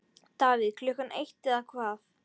Davíð Klukkan eitt eða hvað?